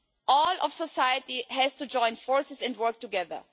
All of society has to join forces and work together.